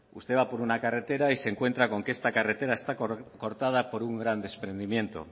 usted va por una carretera y se encuentra con que esta carretera está cortada por un gran desprendimiento